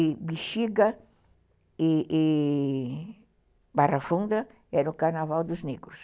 E Bixiga e Barra Funda eram o carnaval dos negros.